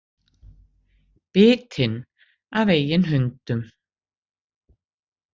Bitinn af eigin hundum